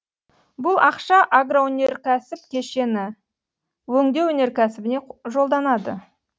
бұл ақша агроөнеркәсіп кешені өңдеу өнеркәсібіне жолданады